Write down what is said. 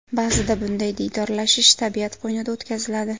Ba’zida bunday diydorlashish tabiat qo‘ynida o‘tkaziladi.